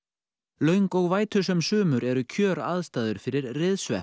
löng og sumur eru kjöraðstæður fyrir